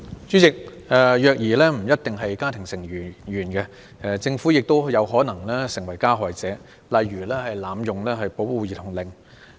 主席，虐兒行為不一定來自家庭成員，政府亦有可能成為加害者，例如濫用保護兒童令。